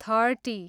thirty